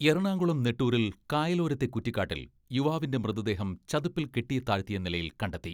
എറണാകുളം നെട്ടൂരിൽ കായലോരത്തെ കുറ്റിക്കാട്ടിൽ യുവാവിന്റെ മൃതദേഹം ചതുപ്പിൽ കെട്ടി താഴ്ത്തിയ നിലയിൽ കണ്ടെത്തി.